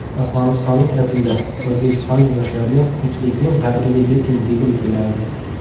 Afg‘onistonlik Asila: O‘zbekistonlik yoshlarga tinchlikning qadriga yeting, degim keladi.